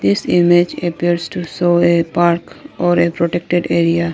This image appears to show a park or a protected area.